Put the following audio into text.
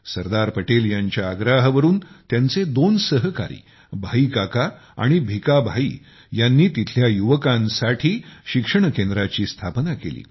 सरदार पटेल यांच्या आग्रहावरून त्यांचे दोन सहकारी भाई काका आणि भिखा भाई यांनी तिथल्या युवकांसाठी शिक्षण केंद्राची स्थापना केली